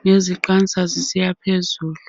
ngeziqansa zisiya phezulu